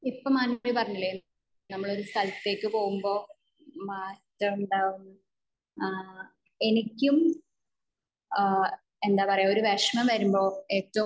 ഇപ്പോ മാനസി പറഞ്ഞില്ലേ നമ്മൾ ഒരു സ്ഥലത്തേക്ക് പോകുമ്പോ മാറ്റം ഉണ്ടാവുമെന്ന് അഹ് എനിക്കും ഒരു വിഷമം വരുമ്പോ ഏറ്റവും